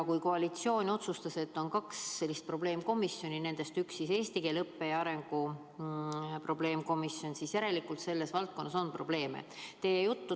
Kui koalitsioon otsustas, et meil on kaks probleemkomisjoni ja nendest üks on eesti keele õppe arengu probleemkomisjon, siis järelikult selles valdkonnas on probleeme.